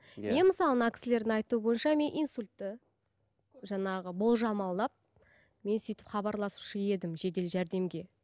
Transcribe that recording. иә мен мысалы мына кісілердің айтуы бойынша мен инсультті жаңағы болжамалап мен сөйтіп хабарласушы едім жедел жәрдемге